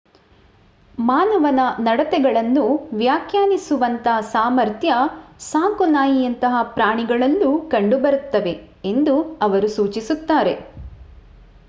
ಮಾನವನ ನಡತೆಗಳನ್ನು ವ್ಯಾಖ್ಯಾನಿಸುವಂಥ ಸಾಮರ್ಥ್ಯ ಸಾಕುನಾಯಿಯಂತಹ ಪ್ರಾಣಿಗಳಲ್ಲೂ ಕಂಡು ಬರುತ್ತವೆ ಎಂದು ಅವರು ಸೂಚಿಸುತ್ತಾರೆ